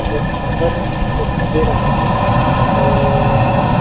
वो बहुत सुन्दर रोशनी दे रहा है और--